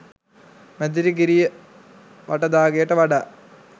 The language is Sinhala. මැදිරිගිරිය වටදා ගෙයට වඩා